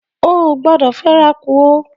O o gbọdọ fẹ'ra kú o!